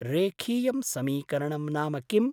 रेखीयं समीकरणं नाम किम्?